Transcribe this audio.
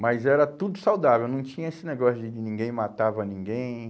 Mas era tudo saudável, não tinha esse negócio de de ninguém matava ninguém.